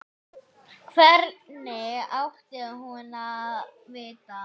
Hvernig átti hún að vita-?